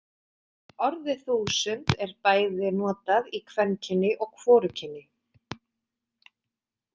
Orðið þúsund er bæði notað í kvenkyni og hvorugkyni.